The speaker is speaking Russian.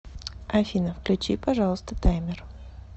афина включи пожалуйста таймер